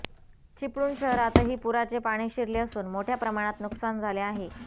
चिपळूण शहरातही पुराचे पाणी शिरले असून मोठया प्रमाणात नुकसान झाले आहे